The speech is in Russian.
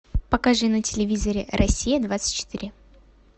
покажи на телевизоре россия двадцать четыре